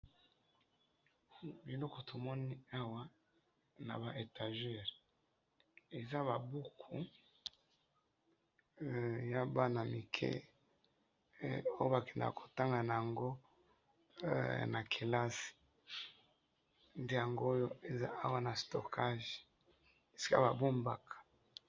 eloko tomoni awa naba etagere eza ba buku he eza ya bana mike oyo bakendaka kotanga na yango na kelasi esika ba bombaka.